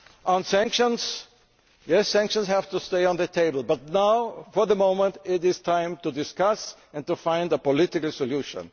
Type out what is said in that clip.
On sanctions yes, sanctions have to stay on the table, but now, for the moment, it is time for discussion and time to find a political solution.